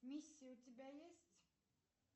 миссия у тебя есть